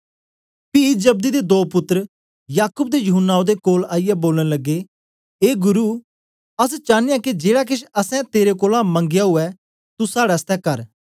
पी जब्दी दे दो पुत्तर याकूब ते यूहन्ना ओदे कोल आईयै बोलन लग्गे ए गुरु अस चानयां के जेड़ा केछ असैं तेरे कोलां मंगया ऊऐ तू साड़े आसतै कर